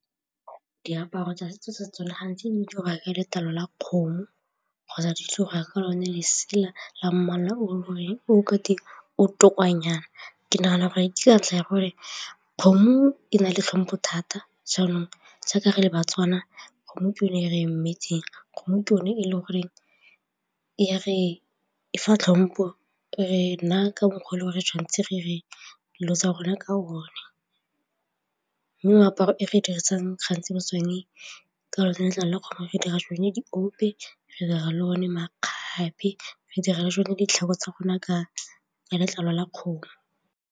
Diaparo tsa setso sa tsone gantsi letlalo la kgomo kgotsa ditso go ya ka lone lesela la mmala o goreng o ka di ke nagana gore ke ka ntlha ya rona kgomo e na le tlhompho thata. Jaanong re le ba-Tswana kgomo ke yone e re emetseng kgomo, ke yone e le goreng ra e tlhompha, re na ka mokgwa le gore tshwanetse re tsa rona ka moaparo e re dirisang gantsi go tsone ke gore letlalo le gore re dira sone diope, re dira le one makgabe, re dira le tsone ditlhako tsa gona ka letlalo la kgomo.